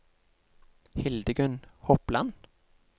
Hildegunn Hopland